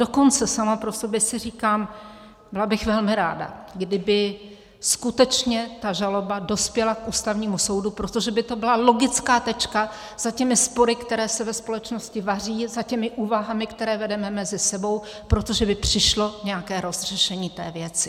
Dokonce sama pro sebe si říkám, byla bych velmi ráda, kdyby skutečně ta žaloba dospěla k Ústavnímu soudu, protože by to byla logická tečka za těmi spory, které se ve společnosti vaří, za těmi úvahami, které vedeme mezi sebou, protože by přišlo nějaké rozřešení té věci.